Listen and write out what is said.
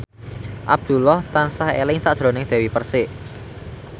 Abdullah tansah eling sakjroning Dewi Persik